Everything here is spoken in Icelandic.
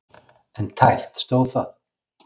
En tæpt stóð það.